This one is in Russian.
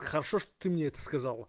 хорошо что ты мне это сказала